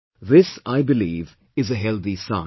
This, I believe, is a healthy sign